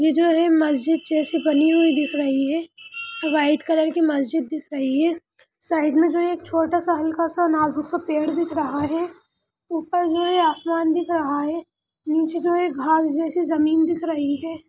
ये जो है मस्जिद जैसी बनी हुई दिख रही है व्हाइट कलर की मस्जिद दिख रही है साइड मे जो एक छोटा सा हल्का सा नाजुक सा पेड़ दिख रहा है ऊपर जो है आसमान दिख रहा है नीचे जो है घाँस जैसी ज़मीन दिख रही है।